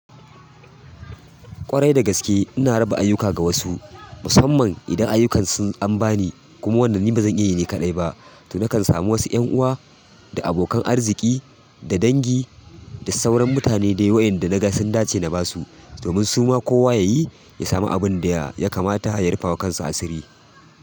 Ƙwarai da gaske ina raba ayuka ga wasu, musamman idan ayukan sun ambani kuma wanda ni bazan iya yin shi kaɗai ba. To nakan samu wasu 'yan uwa da abokan arziki da dangi da sauran mutane da waɗanda naga sun dace na ba su, domin suma kowa ya yi ya sami abin da ya kamata ya rufa wa kansa asiri.